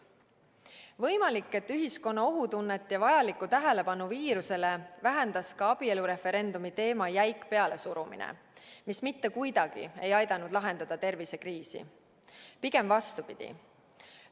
Võimalik, et ühiskonna ohutunnet ja vajalikku tähelepanu viirusele vähendas ka abielureferendumi teema jäik pealesurumine, mis mitte kuidagi ei aidanud lahendada tervisekriisi, pigem vastupidi.